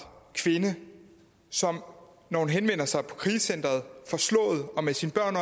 kvinde som når hun henvender sig på krisecenteret forslået og med sine børn